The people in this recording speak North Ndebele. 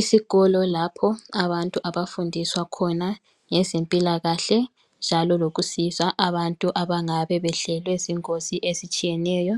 Isikolo lapho abantu abafundiswa khona ngezempilakahle njalo lokusiza abantu abangabe behlelwe zingozi ezitshiyeneyo,